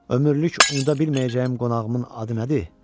Ömürlük unuda bilməyəcəyim qonağımın adı nədir?